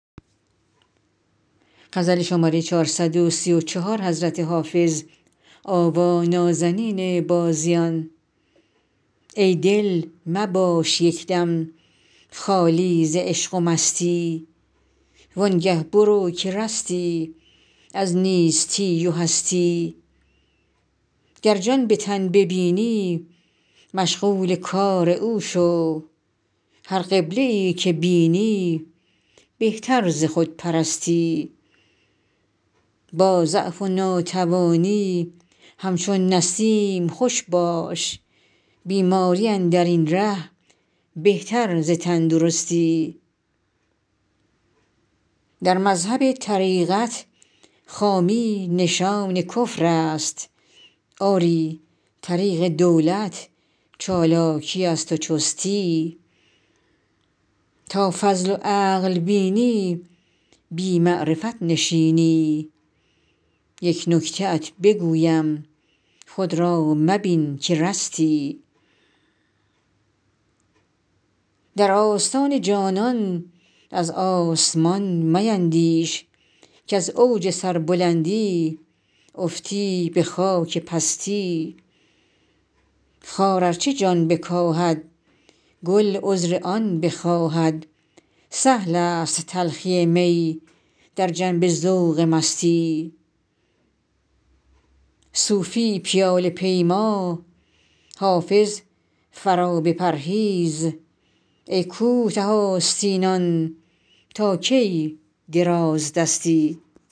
ای دل مباش یک دم خالی ز عشق و مستی وان گه برو که رستی از نیستی و هستی گر جان به تن ببینی مشغول کار او شو هر قبله ای که بینی بهتر ز خودپرستی با ضعف و ناتوانی همچون نسیم خوش باش بیماری اندر این ره بهتر ز تندرستی در مذهب طریقت خامی نشان کفر است آری طریق دولت چالاکی است و چستی تا فضل و عقل بینی بی معرفت نشینی یک نکته ات بگویم خود را مبین که رستی در آستان جانان از آسمان میندیش کز اوج سربلندی افتی به خاک پستی خار ار چه جان بکاهد گل عذر آن بخواهد سهل است تلخی می در جنب ذوق مستی صوفی پیاله پیما حافظ قرابه پرهیز ای کوته آستینان تا کی درازدستی